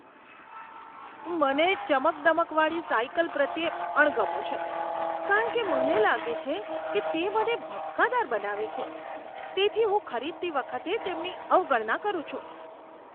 મને ચમકદમકવાળી સાઈકલ પ્રત્યે અણગમો છે કારણ કે મને લાગે છે કે તે મને ભપકાદાર બનાવે છે, તેથી હું ખરીદતી વખતે તેમની અવગણના કરું છું.